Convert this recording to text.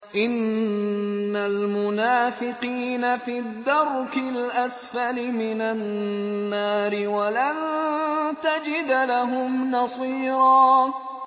إِنَّ الْمُنَافِقِينَ فِي الدَّرْكِ الْأَسْفَلِ مِنَ النَّارِ وَلَن تَجِدَ لَهُمْ نَصِيرًا